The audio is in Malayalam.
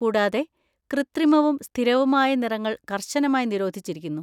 കൂടാതെ, കൃത്രിമവും സ്ഥിരവുമായ നിറങ്ങൾ കർശനമായി നിരോധിച്ചിരിക്കുന്നു!